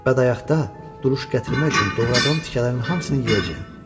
Bədayaqda duruş gətirmək üçün doğradığım tikələrin hamısını yeyəcəyəm.